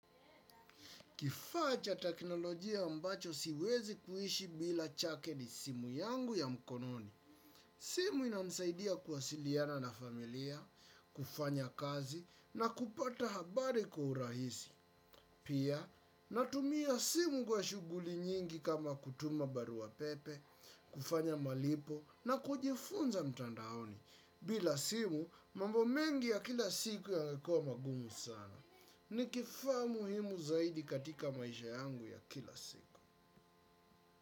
Kifaa cha teknolojia ambacho siwezi kuishi bila chake ni simu yangu ya mkononi. Simu inamsaidia kuwasiliana na familia, kufanya kazi na kupata habari kwa urahisi. Pia, natumia simu kwa shughuli nyingi kama kutuma barua pepe, kufanya malipo na kujifunza mtandaoni. Bila simu, mambo mengi ya kila siku yangekuwa magumu sana. Ni kifaa muhimu zaidi katika maisha yangu ya kila siku.